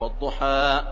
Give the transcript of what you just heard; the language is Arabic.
وَالضُّحَىٰ